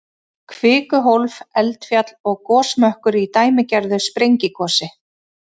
Kvikuhólf, eldfjall og gosmökkur í dæmigerðu sprengigosi.